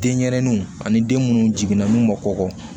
Den ɲɛrɛninw ani den munnu jiginna n'u ma kɔkɔ